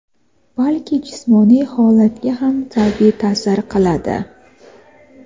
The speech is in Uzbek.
balki jismoniy holatga ham salbiy ta’sir qiladi.